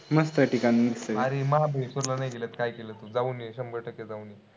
अरे महाबळेश्वरला नाय गेलात, काय केलात तू? जाऊन ये, शंभर टक्के जाऊन ये.